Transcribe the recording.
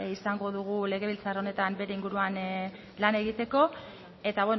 izango dugu legebiltzar honetan bere inguruan lan egiteko eta